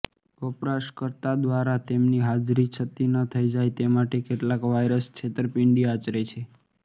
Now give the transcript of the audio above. વપરાશકર્તા દ્વારા તેમની હાજરી છતી ન થઈ જાય તે માટે કેટલાક વાઈરસ છેત્તરપીંડી આચરે છે